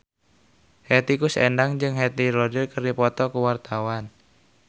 Hetty Koes Endang jeung Heath Ledger keur dipoto ku wartawan